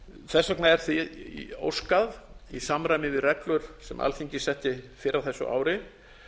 þess vegna er því óskað í samræmi við reglur sem alþingi setti fyrr á þessu ári